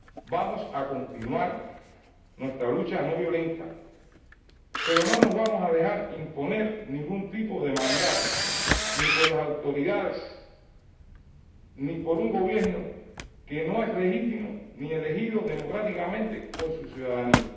Vamos a continuar nuestra lucha no violenta, pero no nos vamos a dejar imponer ningún tipo de mandato, ni por las autoridades, ni por un gobierno que no es legítimo ni elegido democráticamente por su ciudadanía.